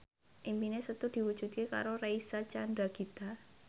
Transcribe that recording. impine Setu diwujudke karo Reysa Chandragitta